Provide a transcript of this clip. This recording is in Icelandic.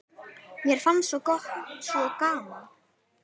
Mér fannst svo gaman.